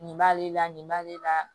Nin b'ale la nin b'ale la